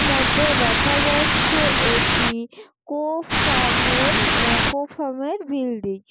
মধ্যে দেখা যাচ্ছে একটি কোফার্ম এর এ কোফার্ম এর বিল্ডিং ।